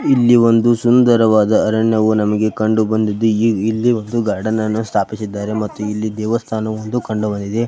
ಇಲ್ಲಿ ಒಂದು ಸುಂದವಾದ ಅರಣ್ಯ ನಮಗೆ ಕಂಡುಬಂದಿದ್ದು ಇಲ್ಲಿ ಒಂದು ಗಾರ್ಡ್ನನ್ನು ಸ್ಥಾಪಿಸಿದ್ದಾರೆ ಮತ್ತು ಇಲ್ಲಿ ದೇವಸ್ಥಾನವೊಂದು ಕಂಡುಬಂದಿದೆ .